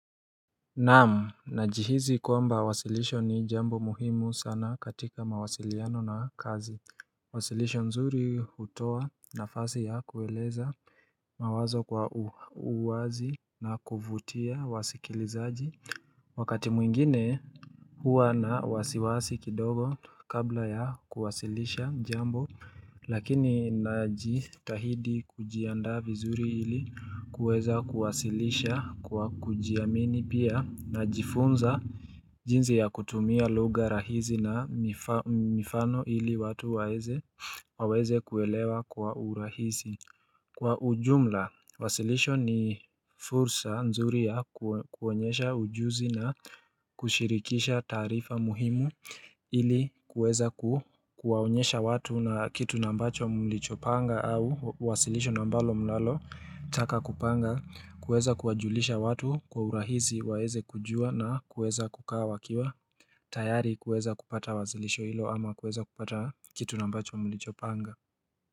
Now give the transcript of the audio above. Naam najihizi kwamba wasilisho ni jambo muhimu sana katika mawasiliano na kazi wasilisho nzuri hutoa nafasi ya kueleza mawazo kwa uwazi na kuvutia wasikilizaji wakati mwingine huwa na wasiwasi kidogo kabla ya kuwasilisha jambo Lakini najitahidi kujianda vizuri ili kuweza kuwasilisha kwa kujiamini pia najifunza jinzi ya kutumia luga rahizi na mifano ili watu waweze kuwelewa kwa urahizi Kwa ujumla, wasilisho ni fursa nzuri ya kuwonyesha ujuzi na kushirikisha taarifa muhimu ili kuweza kuwaonyesha watu na kitu nambacho mulicho panga au wasilisho na ambalo mnalalo taka kupanga, kuweza kuwajulisha watu kwa urahizi waeze kujua na kuweza kukaa wakiwa, tayari kuweza kupata wasilisho ilo ama kuweza kupata kitu nambacho mulicho panga.